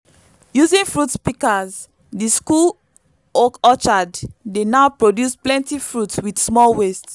using fruit pikas di school orchard dey now produce plenty fruit with small waste